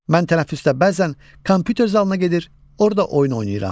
Mən tənəffüsdə bəzən kompyuter zalına gedir, orda oyun oynayıram.